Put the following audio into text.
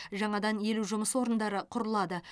жаңадан елу жұмыс орындары құрылады